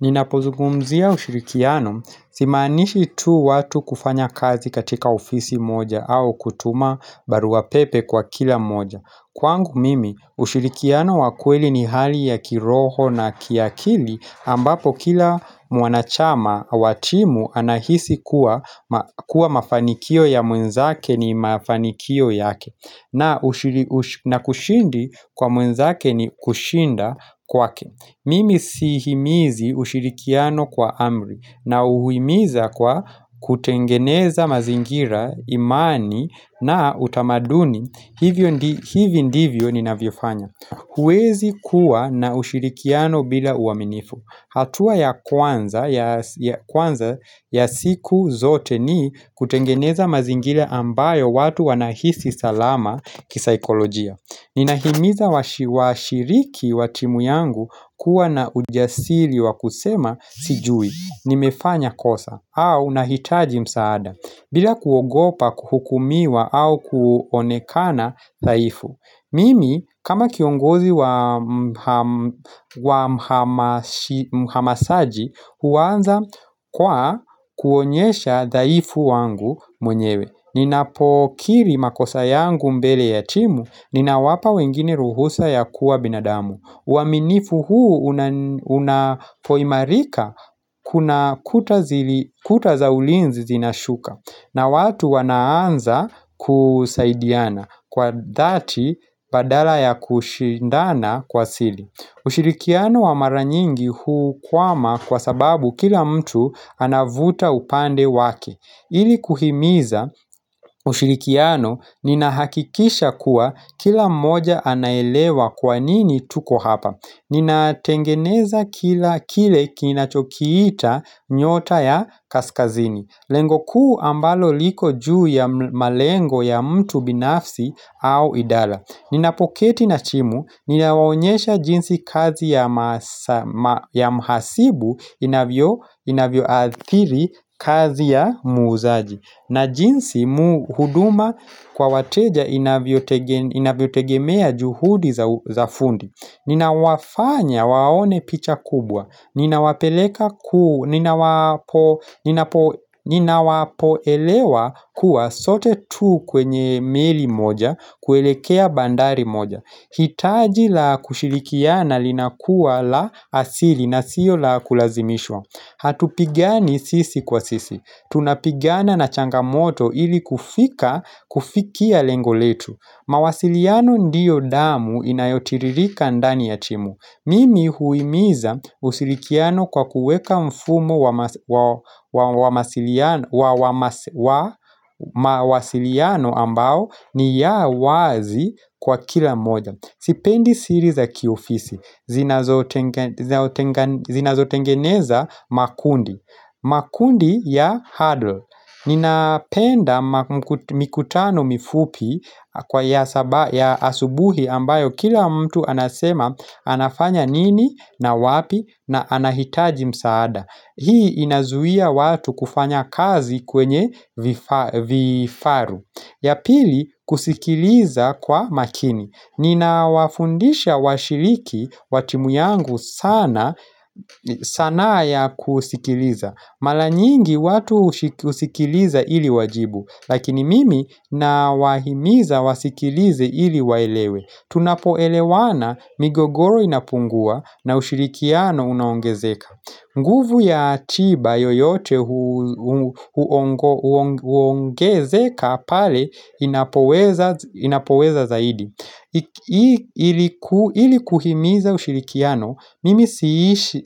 Ninapozungumzia ushirikiano, simaanishi tu watu kufanya kazi katika ofisi moja au kutuma barua pepe kwa kila moja. Kwangu mimi, ushirikiano wa kweli ni hali ya kiroho na kiakili ambapo kila mwanachama wa timu anahisi kuwa mafanikio ya mwenzake ni mafanikio yake. Na kushindi kwa mwenzake ni kushinda kwake. Mimi sihimizi ushirikiano kwa amri nauhimiza kwa kutengeneza mazingira imani na utamaduni Hivyo ndivyo ninavyofanya huwezi kuwa na ushirikiano bila uaminifu hatua ya kwanza ya siku zote ni kutengeneza mazingira ambayo watu wanahisi salama kisaikolojia Ninahimiza washiriki wa timu yangu kuwa na ujasiri wa kusema sijui nimefanya kosa au nahitaji msaada bila kuogopa kuhukumiwa au kuonekana dhaifu Mimi kama kiongozi wa mhamasaji huanza kwa kuonyesha dhaifu wangu mwenyewe Ninapokiri makosa yangu mbele ya timu Ninawapa wengine ruhusa ya kuwa binadamu uaminifu huu unapoimarika kuna kuta za ulinzi zinashuka na watu wanaanza kusaidiana Kwa dhati badala ya kushindana kwa sili ushirikiano wa mara nyingi hukwama kwa sababu kila mtu anavuta upande wake ili kuhimiza ushirikiano ninahakikisha kuwa kila mmoja anaelewa kwa nini tuko hapa. Ninatengeneza kila kile kinachokiita nyota ya kaskazini. Lengo kuu ambalo liko juu ya malengo ya mtu binafsi au idala. Ninapoketi na chimu, ninawaonyesha jinsi kazi ya mhasibu inavyoathiri kazi ya muuzaji na jinsi huduma kwa wateja inavyotegemea juhudi za fundi Ninawafanya waone picha kubwa Ninawapoelewa kuwa sote tu kwenye meli moja kuelekea bandari moja. Hitaji la kushilikiana linakuwa la asili na sio la kulazimishwa. Hatupigani sisi kwa sisi. Tunapigana na changamoto ili kufika kufikia lengo letu. Mawasiliano ndiyo damu inayotiririka ndani ya timu. Mimi huimiza usilikiano kwa kuweka mfumo wa mawasiliano ambao ni ya wazi kwa kila moja Sipendi siri za kiofisi Zinazotengeneza makundi makundi ya huddle Ninapenda mikutano mifupi Kwa ya asubuhi ambayo kila mtu anasema anafanya nini na wapi na anahitaji msaada Hii inazuia watu kufanya kazi kwenye vifaru ya pili kusikiliza kwa makini. Ninawafundisha washiliki wa timu yangu sanaa ya kusikiliza. Mala nyingi watu husikiliza ili wajibu, lakini mimi nawahimiza wasikilize ili waelewe. Tunapoelewana migogoro inapungua na ushirikiano unaongezeka nguvu ya atiba yoyote huongezeka pale inapoweza zaidi ili kuhimiza ushirikiano, mimi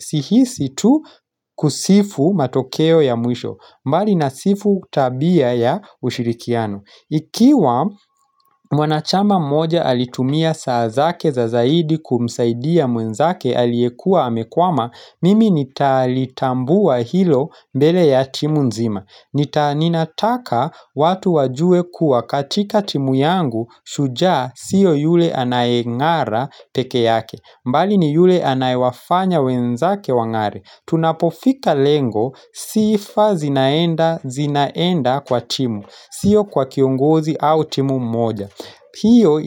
sihisi tu kusifu matokeo ya mwisho mbali nasifu tabia ya ushirikiano Ikiwa mwanachama mmoja alitumia saa zake za zaidi kumsaidia mwenzake aliyekua amekwama, mimi nitalitambua hilo mbele ya timu nzima. Nita ninataka watu wajue kuwa katika timu yangu shujaa sio yule anayeng'ara peke yake. Mbali ni yule anayewafanya wenzake wang'are. Tunapofika lengo sifa zinaenda zinaenda kwa timu. Sio kwa kiongozi au timu mmoja hiyo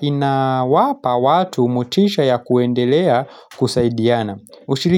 inawapa watu motisha ya kuendelea kusaidiana.